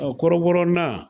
Ɔn kɔrɔbɔrɔ nan.